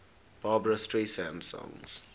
barbra streisand songs